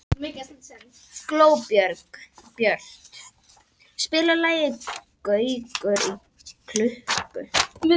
Glóbjört, spilaðu lagið „Gaukur í klukku“.